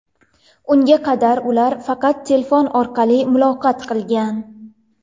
Unga qadar ular faqat telefon orqali muloqot qilgan.